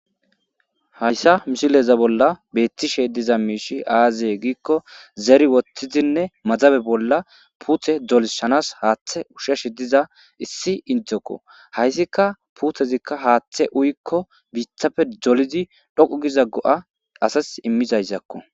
Hayssa mishileza bolla beettishe diza miishi aaziye giikko zeri woththizinne mazabe bolla puuthe dolishanas haaththe ushashi diza issi indokko hayssika puuthezikka haaththe uyikko biithapfe dolizi dhoqu giza go7a asas immizayszakko.